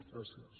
gràcies